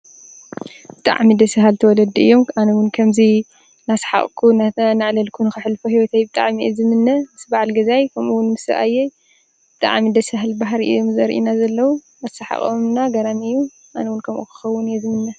ብጣዕሚ ደስ ባሃልቲ ወለዲ እዮም፡፡ ኣነ እውን ከምዚ እናሰሓቅኩ እናዕለለልኩ ከሕልፎ ሂወተይ ብጣዕሚ እየ ዝምነ፡፡ ምስ ባዓል ገዛይ ከምኡ እውን ምስ ሰብኣየ ብጣዕሚ ደስ ዝብል ባህሪ እዮም ዘርዩና ዘለዉ፡፡ ኣሰሓቅኦም ድም ገራሚ እዩ፡፡ ኣነ እውን ከምኦም ክከውን እየ ዝምነ፡፡